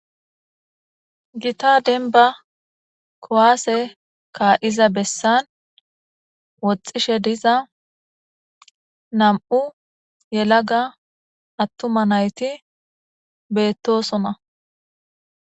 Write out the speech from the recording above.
gita denba kowaase kaa7iza bessan woxxishe diza nam7u yelaga attuma nayti beettosona